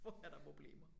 Får jeg da problemer